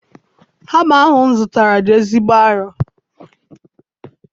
Hama ahụ m zụtara dị ezigbo arọ.